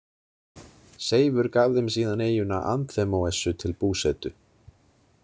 Seifur gaf þeim síðan eyjuna Anþemóessu til búsetu.